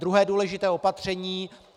Druhé důležité opatření.